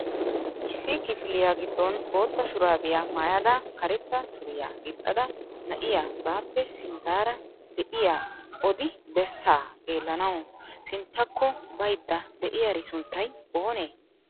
Issi kifiliyaa giddon bootta shurabiya maayyadda karetta suriyaa gixxida na'iyaa baappe sinttara de'iyaa odi bessaa xeellanaw sinttakko baydda de'iyaari sunttay oonee?